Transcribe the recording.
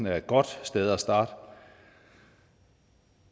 er et godt sted at starte